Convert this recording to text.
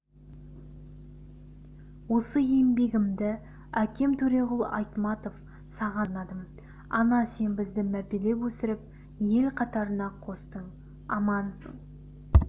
осы еңбегімді әкем төреғұл айтматов саған арнадым ана сен бізді мәпелеп өсіріп ел қатарына қостың амансың